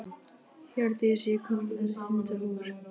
Hjördís, ég kom með hundrað húfur!